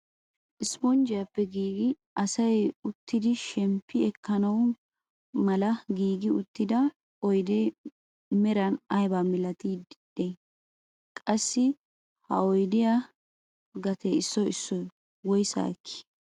Isponjjiyaappe giigi asay uttidi shemppi ekkana mala giigi uttida oydee meran ayba milatiidi de'ii? qassi ha oydiyaa gatee issoy issoy woyssaa ekkii?